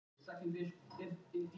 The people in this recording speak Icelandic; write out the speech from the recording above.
Fram byrjar með boltann